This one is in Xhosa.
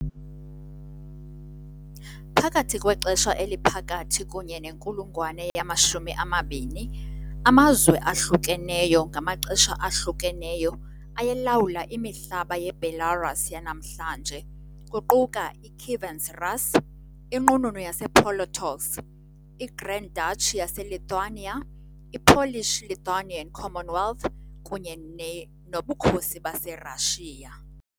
Phakathi kwexesha eliphakathi kunye nenkulungwane yama-20, amazwe ahlukeneyo ngamaxesha ahlukeneyo ayelawula imihlaba yeBelarus yanamhlanje, kuquka iKievan Rus ', iNqununu yasePolotsk, iGrand Duchy yaseLithuania, i- Polish-Lithuanian Commonwealth, kunye noBukhosi baseRashiya .